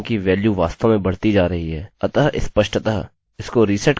आप देख सकते हैं कि वेल्यू वास्तव में बढती जा रही है